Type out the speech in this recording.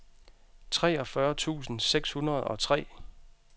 treogfyrre tusind seks hundrede og tre